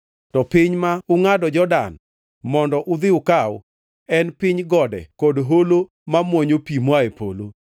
To piny ma ungʼado Jordan mondo udhi ukaw en piny gode kod holo ma mwonyo pi moa e polo.